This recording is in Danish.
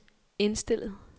indstillet